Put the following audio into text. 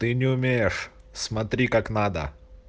ты не умеешь смотри как надо